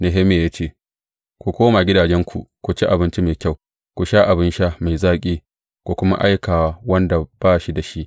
Nehemiya ya ce, Ku koma gidajenku ku ci abinci mai kyau, ku sha abin sha mai zaƙi, ku kuma aika wa wanda ba shi da shi.